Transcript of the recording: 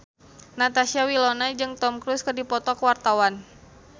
Natasha Wilona jeung Tom Cruise keur dipoto ku wartawan